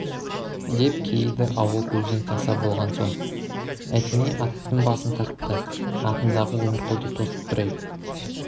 деп кейіді ауыл көзден таса болған соң әтеней аттың басын тартты атындағы өмірқұлды тосып тұр әй